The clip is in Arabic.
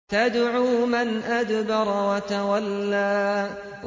تَدْعُو مَنْ أَدْبَرَ وَتَوَلَّىٰ